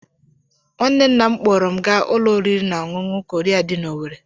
Nwanne nna m kpọọrọ m gaa ụlọ oriri na ọṅụṅụ Korea dị n'Owerri